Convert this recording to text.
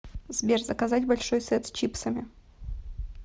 сбер заказать большой сет с чипсами